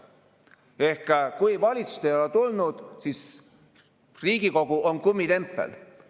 Ehk kui valitsusest ei ole tulnud, siis Riigikogu on kummitempel.